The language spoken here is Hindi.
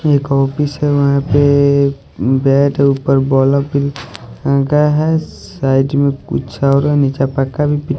एक ऑफिस है वहां पे बैड है ऊपर बल्ब भी लगा है साइड में कुछ और नीचे पक्का भी--